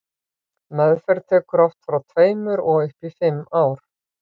meðferð tekur oft frá tveimur og upp í fimm ár